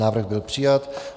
Návrh byl přijat.